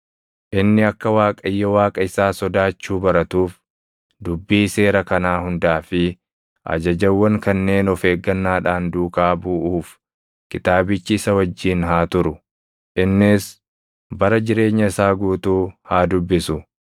Inni akka Waaqayyo Waaqa isaa sodaachuu baratuuf dubbii seera kanaa hundaa fi ajajawwan kanneen of eeggannaadhaan duukaa buʼuuf kitaabichi isa wajjin haa turu; innis bara jireenya isaa guutuu haa dubbisu;